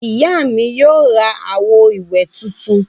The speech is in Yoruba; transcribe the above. Ìyá mi yóò ra àwo-ìwẹ̀ tuntun.